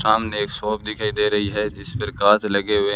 सामने एक शॉप दिखाई दे रही है जिस पर कांच लगे हुए--